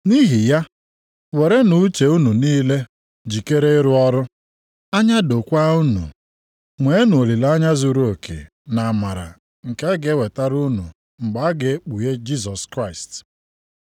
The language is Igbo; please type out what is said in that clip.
Nʼihi ya, werenụ uche unu niile jikere ịrụ ọrụ, anya dokwaa unu. Nweenụ olileanya zuruoke nʼamara nke a ga-ewetara unu mgbe a ga-ekpughe Jisọs Kraịst.